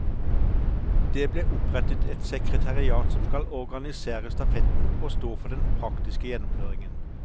Det ble opprettet et sekretariat som skal organisere stafetten og stå for den praktiske gjennomføringen.